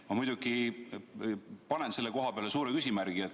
Ma muidugi panen selle koha peale suure küsimärgi.